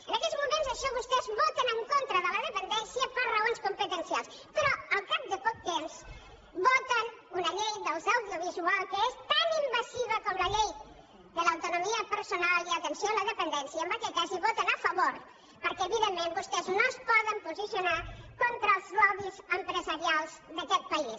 en aquells moments això vostès voten en contra de la dependència per raons competencials però al cap de poc temps voten una llei de l’audiovisual que és tan invasiva com la llei de l’autonomia personal i atenció a la dependència i en aquest cas hi voten a favor perquè evidentment vostès no es poden posicionar contra els lobbys empresarials d’aquest país